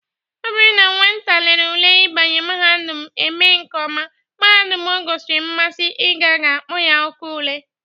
Ọ bụrụ na nwata lere ule ịbanye mahadum eme nke ọma, mahadum o gosiri mmasị ịga ga-akpọ ya oku ule.